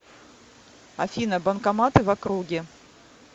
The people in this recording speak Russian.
афина банкоматы в округе